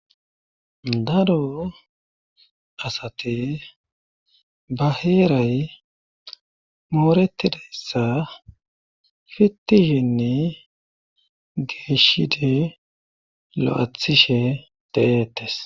Daro asate ba heeray mooretidayssa fittishenne geeshide lo'athishe deetes.